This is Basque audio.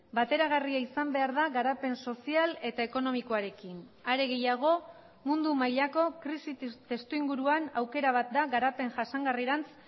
bateragarria izan behar da garapen sozial eta ekonomikoarekin are gehiago mundu mailako krisi testu inguruan aukera bat da garapen jasangarrirantz